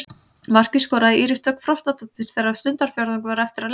Markið skoraði Íris Dögg Frostadóttir þegar stundarfjórðungur var eftir af leiknum.